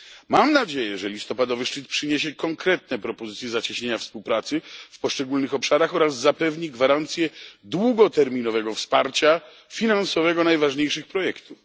Mam nadzieję, że listopadowy szczyt przyniesie konkretne propozycje zacieśnienia współpracy w poszczególnych obszarach oraz zapewni gwarancje długoterminowego wsparcia finansowego najważniejszych projektów.